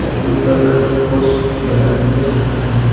Blue colour का poles बना के रखा है।